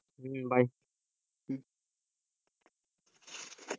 হম bye